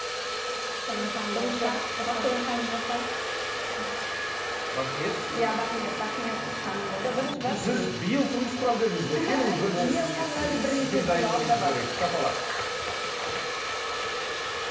бірінші бақтыгүл ханым болса бақниет иә бақниет бақниет ханым болса сіз биыл тұрмыс құрамын дедіңіз ғой келіңіз бірінші сізге